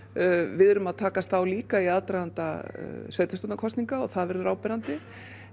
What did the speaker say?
við erum að takast á líka í aðdraganda sveitastjórnakosninga og það verður áberandi